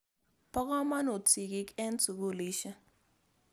Po kamonut sigik eng' sukulisyek.